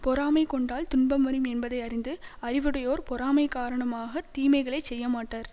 பொறாமை கொண்டால் துன்பம் வரும் என்பதை அறிந்து அறிவுடையோர் பொறாமை காரணமாக தீமைகளை செய்யமாட்டர்